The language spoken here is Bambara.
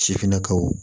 Sifinnakaw